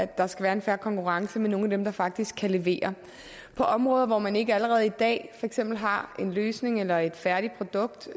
der skal være en fair konkurrence med nogle af dem der faktisk kan levere på områder hvor man ikke allerede i dag for eksempel har en løsning eller et færdigt produkt